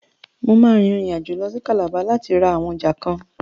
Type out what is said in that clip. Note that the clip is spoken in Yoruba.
Mà á rin ìrìn àjò lọ sí Calabar láti ra àwọn ọjà kan.